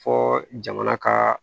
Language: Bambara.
Fɔ jamana ka